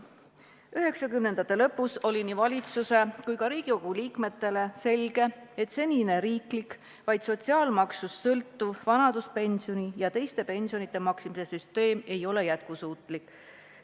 1990-ndate lõpus oli nii valitsuse kui ka Riigikogu liikmetele selge, et senine riiklik, vaid sotsiaalmaksust sõltuv vanaduspensioni ja teiste pensionide maksmise süsteem ei ole jätkusuutlik.